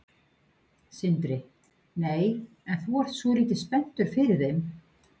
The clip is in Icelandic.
Sindri: Nei, en þú ert svolítið spenntur fyrir þeim?